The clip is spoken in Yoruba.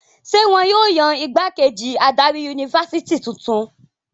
Ṣé wọn yóò yan ìgbákejì adarí yunifásitì tuntun?